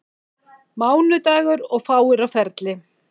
Mánudagur og fáir á ferli.